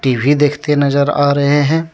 TV देखते नजर आ रहे हैं।